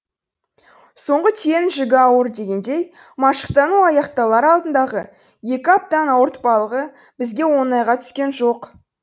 соңғы түйенің жүгі ауыр дегендей машықтану аяқталар алдындағы екі аптаның ауыртпалығы бізге оңайға түскен жоқ